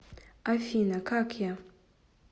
афина как я